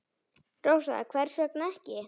Rósa: Hvers vegna ekki?